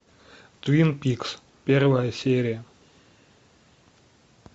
твин пикс первая серия